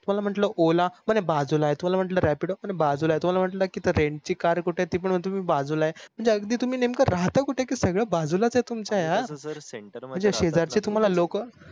तुम्हाला म्हटल ola बाजूला आहे, तुम्हाला म्हटलं rapido बाजूला आहे तुम्हाला म्हटल rent ची car कुठ आहे ती पण तुम्ही म्हटल बाजूला आहे म्हणजे तुम्ही राहता कुठ कि सगळे बाजूलाच आहे तुमची आय यार म्हणजे शेजार चे तुम्हाला लोक